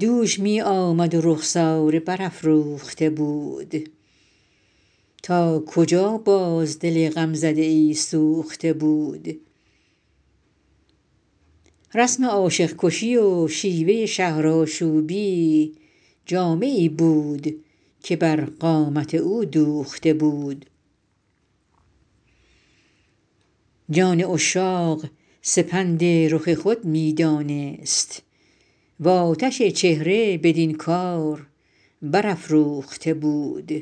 دوش می آمد و رخساره برافروخته بود تا کجا باز دل غمزده ای سوخته بود رسم عاشق کشی و شیوه شهرآشوبی جامه ای بود که بر قامت او دوخته بود جان عشاق سپند رخ خود می دانست و آتش چهره بدین کار برافروخته بود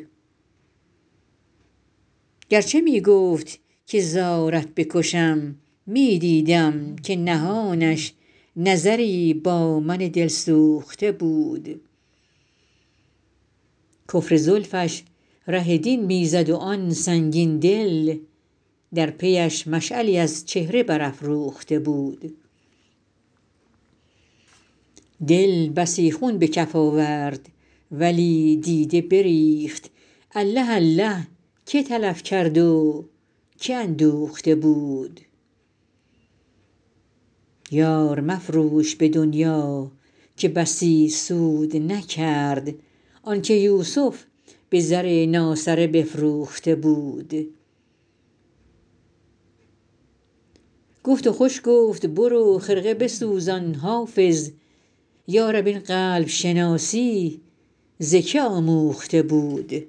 گر چه می گفت که زارت بکشم می دیدم که نهانش نظری با من دلسوخته بود کفر زلفش ره دین می زد و آن سنگین دل در پی اش مشعلی از چهره برافروخته بود دل بسی خون به کف آورد ولی دیده بریخت الله الله که تلف کرد و که اندوخته بود یار مفروش به دنیا که بسی سود نکرد آن که یوسف به زر ناسره بفروخته بود گفت و خوش گفت برو خرقه بسوزان حافظ یا رب این قلب شناسی ز که آموخته بود